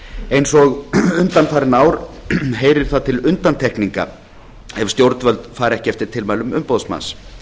eins og undanfarin ár heyrir það til undantekninga ef stjórnvöld fara ekki eftir tilmælum umboðsmanns